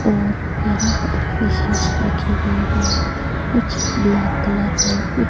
और यहां पर फ़िशेज़ रखी गई हैं कुछ ब्लैक कलर और कुछ--